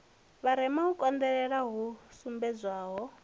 vharema u konḓelela hu sumbedzwaho